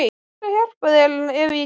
Ég skal hjálpa þér ef ég get.